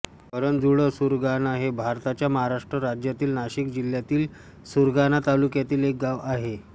करंजुळसुरगाणा हे भारताच्या महाराष्ट्र राज्यातील नाशिक जिल्ह्यातील सुरगाणा तालुक्यातील एक गाव आहे